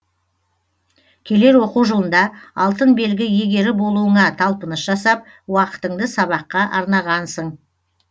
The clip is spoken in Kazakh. келер оқу жылында алтын белгі иегері болуыңа талпыныс жасап уақытыңды сабаққа арнағансың